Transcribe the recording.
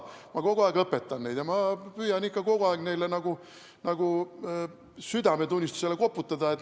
Ma kogu aeg õpetan neid ja püüan ikka kogu aeg nagu nende südametunnistusele koputada.